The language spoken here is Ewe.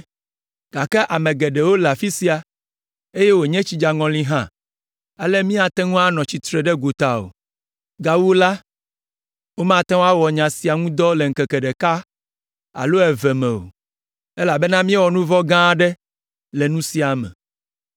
gake ame geɖewo le afi sia, eye wònye tsidzaŋɔli hã, ale míate ŋu anɔ tsitre ɖe gota o. Gawu la, womate ŋu awɔ nya sia ŋu dɔ le ŋkeke ɖeka alo eve me o, elabena míewɔ nu vɔ̃ gã aɖe le nu sia me.